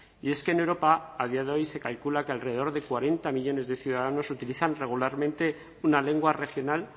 y es que en europa a día de hoy se calcula que alrededor de cuarenta millónes de ciudadanos utilizan regularmente una lengua regional